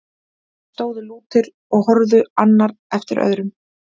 Þeir stóðu lútir og horfði annar eftir öðrum.